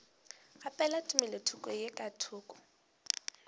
kgaphela tumelothoko ye ka thoko